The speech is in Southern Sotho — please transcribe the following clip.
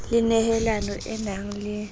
le nehelano e nang le